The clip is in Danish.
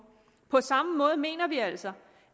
på samme måde mener vi altså